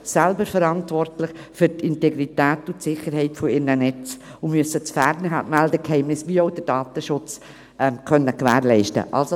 Diese sind nämlich für die Integrität und Sicherheit ihrer Netze selber verantwortlich und müssen das Fernmeldegeheimnis wie auch den Datenschutz gewährleisten können.